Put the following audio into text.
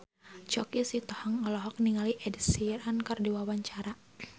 Choky Sitohang olohok ningali Ed Sheeran keur diwawancara